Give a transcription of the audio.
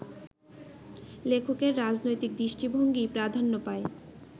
লেখকের রাজনৈতিক দৃষ্টিভঙ্গিই প্রাধান্য পায়